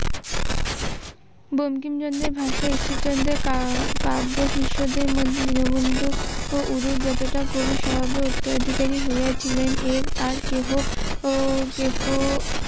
বঙ্কিমচন্দ্রের ভাষায় ঈশ্বর চন্দ্রের কাব্য শিষ্যদের মধ্যে দীন বন্ধু উনি যতটা কবি স্বভাবের উত্তরাধিকারী হয়েছিলেন এর আগে